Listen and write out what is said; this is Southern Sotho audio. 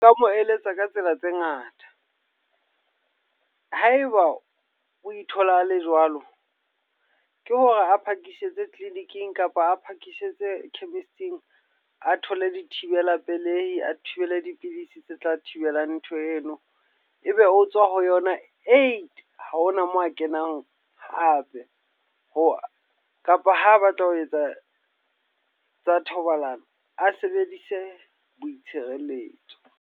Nka mo eletsa ka tsela tse ngata. Haeba o ithola a le jwalo. Ke hore a phakisitse clinic-ing kapa a phakisitse chemist-ing, a thole di thibela pelehi, a thibele dipidisi tse tla thibelang ntho eno. E be ho tswa ho yona uit. Ha hona moo a kenang hape. Ho kapa ha batla ho etsa tsa thobalano, a sebedise boitshireletso.